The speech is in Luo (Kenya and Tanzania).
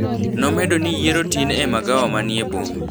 Nomedo ni yiero tin e magawa manie boma.